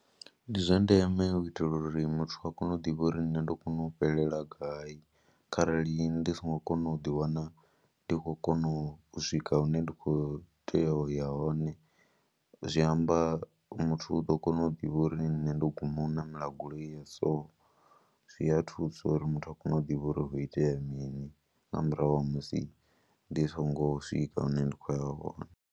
Ndi zwa ndeme u itela uri muthu a kone u ḓivha uri nṋe ndo kona u fhelela gayi kharali ndi songo kona u ḓiwana ndi khou kona u swika hune ndi khou tea u ya hone, zwi amba muthu u ḓo kona u ḓivha uri nṋe ndo guma u ṋamela goloi ya so, zwi a thusa uri muthu a kone u ḓivha uri ho itea mini nga murahu ha musi ndi songo swika hune nda khou ya hone.